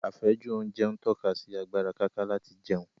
Àfẹ́jù oúnjẹ ń tọ́ka sí agbára káká láti jẹun